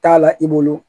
T'a la i bolo